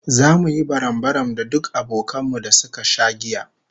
Zamu yi barambaram da duk abokan mu da suka sha giya